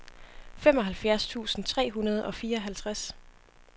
femoghalvfjerds tusind tre hundrede og fireoghalvtreds